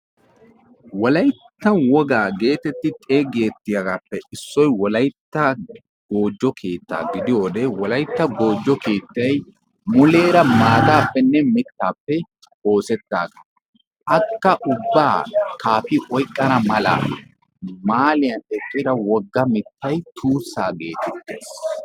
Wolayttan woga geetetti. xeegettiyaagaappe issoyi wolaytta goojjo keettaa gidiyo wode wolaytta goojjo keettayi muleera maataappenne mittaappe oosettaaga. Akka ubbaa kaaphi oyqqana mala mahaaliyan eqqi wogga mittayi tuussaa geetettes.